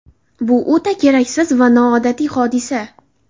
Bu o‘ta keraksiz va noodatiy hodisa.